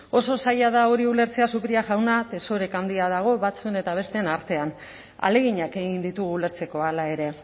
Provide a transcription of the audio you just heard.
oso zaila da hori ulertzea zupiria jauna desoreka handia dago batzuen eta besteen artean ahaleginak egin ditugu ulertzeko hala ere